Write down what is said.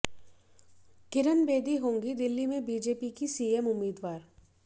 किरण बेदी होंगी दिल्ली में बीजेपी की सीएम उम्मीदवार